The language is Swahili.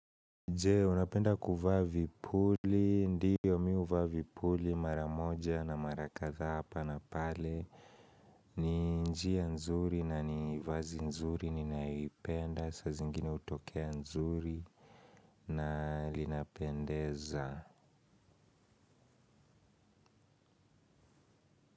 Jee, unapenda kuvaa vipuli, ndiyo mi huvaa vipuli, mara moja na mara kadhaa hapa na pale. Ni njia nzuri na ni vazi nzuri, ninayoipenda, saa zingine hutokea nzuri na linapendeza.